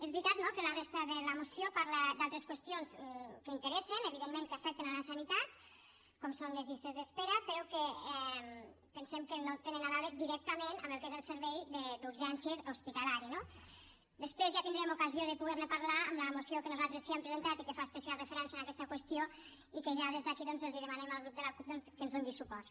és veritat no que la resta de la moció parla d’altres qüestions que interessen evidentment que afecten la sanitat com són les llistes d’espera però que pensem que no tenen a veure directament amb el que és el servei d’urgències hospitalari no després ja tindrem ocasió de poder ne parlar amb la moció que nosaltres sí que hem presentat i que fa especial referència a aquesta qüestió i que ja des d’aquí doncs els demanem al grup de la cup doncs que ens hi doni suport